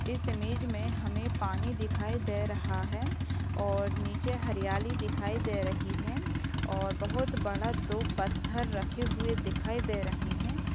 इस इमेज में हमें पानी दिखाई दे रहा है और नीचे हरियाली दिखाई दे रही है और बोहोत बड़ा दो पत्थर रखे हुए दिखाई दे रहे हैं।